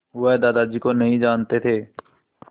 वह दादाजी को नहीं जानते थे